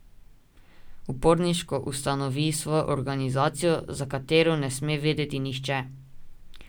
Uporniško ustanovi svojo organizacijo, za katero ne sme vedeti nihče.